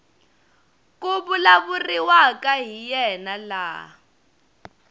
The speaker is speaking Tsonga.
ku vulavuriwaka hi yena laha